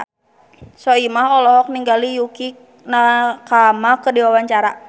Soimah olohok ningali Yukie Nakama keur diwawancara